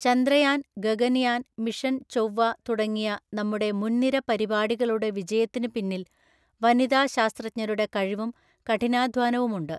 Chandrayaan, Gaganyaan, mission ചൊവ്വ തുടങ്ങിയ നമ്മുടെ മുൻനിര പരിപാടികളുടെ വിജയത്തിന് പിന്നിൽ വനിതാ ശാസ്ത്രജ്ഞരുടെ കഴിവും കഠിനാധ്വാനവുമുണ്ട്.